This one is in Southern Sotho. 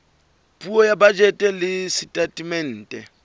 puo ya bajete le setatemente